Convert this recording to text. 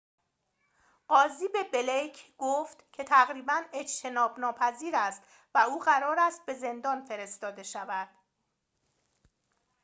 قاضی به بلیک گفت که تقریباً اجتناب‌ناپذیر است و او قرار است به زندان فرستاده شود